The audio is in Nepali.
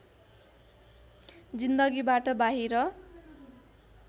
जिन्दगीबाट बाहिर